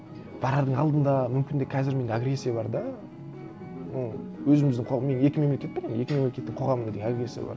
барардың алдында мүмкін де қазір менде агрессия бар да ну өзіміздің мен екі мемлекет пе екі мемлекеттің қоғамында де агрессия бар